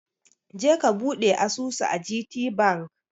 Je ka buɗe asusu a gtbank!